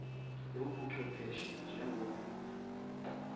lobo buchwepheshe njengelunga